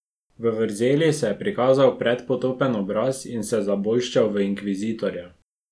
V vrzeli se je prikazal predpotopen obraz in se zabolščal v inkvizitorja.